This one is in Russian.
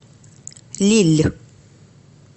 лилль